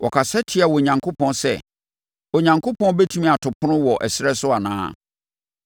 Wɔkasa tiaa Onyankopɔn sɛ, “Onyankopɔn bɛtumi ato ɛpono wɔ ɛserɛ so anaa?